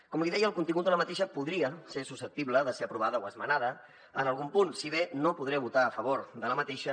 com li deia el contingut de la moció podria ser susceptible de ser aprovada o esmenada en algun punt si bé no podré votar a favor d’aquesta